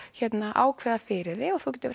ákveða fyrir þig